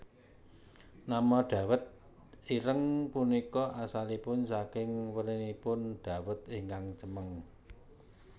Nama dawet ireng punika asalipun saking werninipun dawet ingkang cemeng